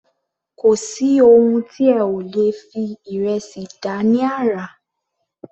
Kò sí oun tí ẹ ò lè fi ìrẹsì dá ní àrà.